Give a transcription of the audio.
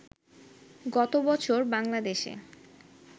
গত বছর বাংলাদেশে